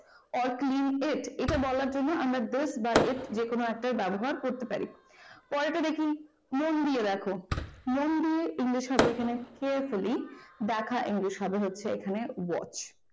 or clean it বলার জন্য আমরা this বা it যে কোন একটারব্যবহার করতে পারি পরেরটা দেখি মন দিয়ে english হবে এখানে carefully দেখা english হবে হচ্ছে এখানে watch